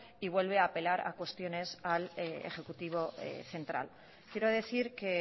y vuelve a apelar a cuestiones al ejecutivo central quiero decir que